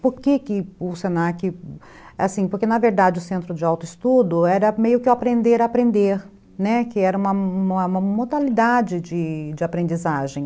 Por que que o se na que... Assim, porque, na verdade, o Centro de Autoestudo era meio que o Aprender a Aprender, que era uma modalidade de aprendizagem.